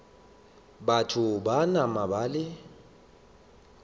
batho ba nama ba le